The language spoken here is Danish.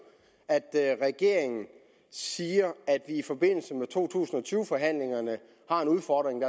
at at regeringen siger at vi i forbindelse med to tusind og tyve forhandlingerne har en udfordring